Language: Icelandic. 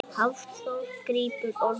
Hafþór grípur orðið.